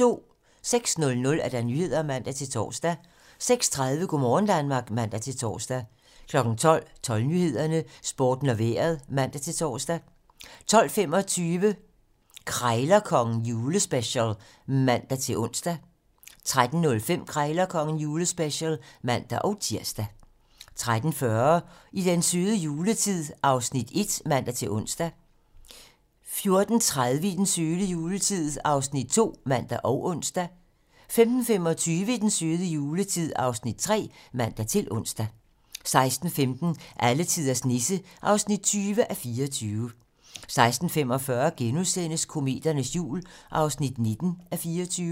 06:00: Nyhederne (man-tor) 06:30: Go' morgen Danmark (man-tor) 12:00: 12 Nyhederne, Sporten og Vejret (man-tor) 12:25: Krejlerkongen - julespecial (man-ons) 13:05: Krejlerkongen - julespecial (man-tir) 13:40: I den søde juletid (Afs. 1)(man-ons) 14:30: I den søde juletid (Afs. 2)(man og ons) 15:25: I den søde juletid (Afs. 3)(man-ons) 16:15: Alletiders Nisse (20:24) 16:45: Kometernes jul (19:24)*